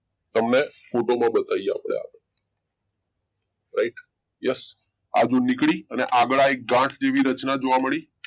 તમને ફોટામાં બતાવી આપણે right yes આજે નીકળી ને આગળ આઈ ગાંઠ જેવી રચના જોવા મળી